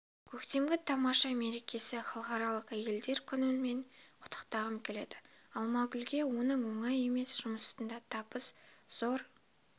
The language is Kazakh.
көктемгі тамаша мерекесі халықаралық әйелдер күнімен құттықтағым келеді алмагүлке оның оңай емес жұмысында табыс зор